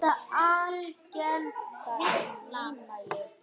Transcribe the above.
Það er nýmæli.